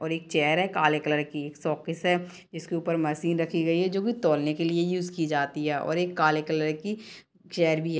और एक चेयर है काले कलर की है एक शोकेस है जिसके ऊपर मशीन रखी गयी है जो की तौलने के लिए यूज़ की जाता है और एक काले कलर की चेयर भी हैं।